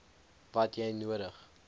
wat jy nodig